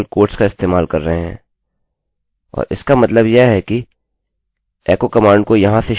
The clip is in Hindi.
मेरे खयाल से मैं यह मेरे एकोecho फंक्शनfunction के ट्यूटोरियल में समझा चुका हूँ